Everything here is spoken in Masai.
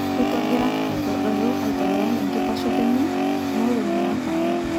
Ruto ogira aitodolu aitololong enkitashoto enye kunolongi natanaa.